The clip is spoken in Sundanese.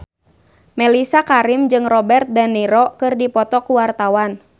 Mellisa Karim jeung Robert de Niro keur dipoto ku wartawan